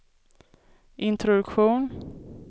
introduktion